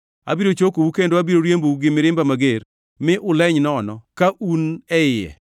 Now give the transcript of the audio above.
Abiro chokou kendo abiro riembou gi mirimba mager, mi unuleny nono ka un e iye.